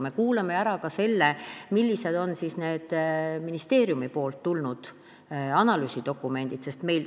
Me kuulame ära ka selle, millised on ministeeriumist tulnud analüüsidokumendid.